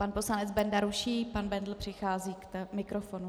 Pan poslanec Benda ruší, pan Bendl přichází k mikrofonu.